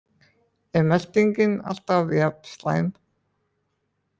Er meltingin alltaf jafn slæm?